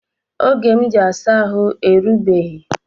Oge m ji asa ahụ erugbeghi